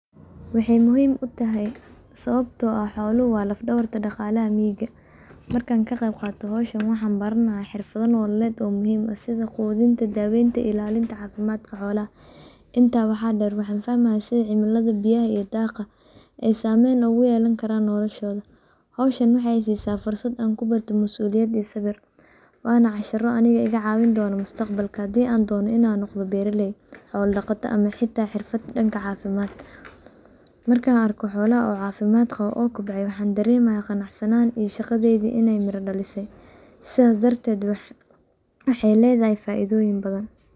Waxay muhiim u tahay sababto ah xooluhu waa laf dhabarta dhaqalaha miyiga markan ka qayb qaata meshan waxaan baranaya xirfada noolaleed oo muhiim ah sida quudinta daawaynta iyo ilaalinta caafimadka xoolaha. Inta waxaa dheer waxaan fahmaya sida cimilada biyaha iyo dhaaqa ay saamen ogu yeelan karan noolashooda. Hawshan waxay i siisa fursad aan ku barto mas'uliyad iyo sawir waana cashira aniga iga caawin doona mustaqbalka hadii aan doona inaan noqda beeraley xoola dhaqato ama xita xirfad dhanka caafimad. Markan arko xoolaha oo caafimad qabo oo kobce waxaaan dareemaya qanacsanaan iyo shaqadayda inay miradhalise sidas darted waxay leedahay faaidoyin badan.